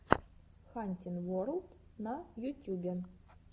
хантин ворлд на ютюбе